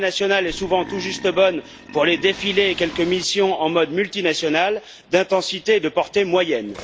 L'armée nationale est souvent tout juste bonne pour les défilés et quelques missions en mode multinational d'intensité et de portée moyennes.